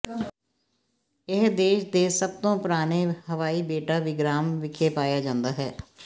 ਇਹ ਦੇਸ਼ ਦੇ ਸਭ ਤੋਂ ਪੁਰਾਣੇ ਹਵਾਈ ਬੇਟਾ ਵਿਗਰਾਮ ਵਿਖੇ ਪਾਇਆ ਜਾਂਦਾ ਹੈ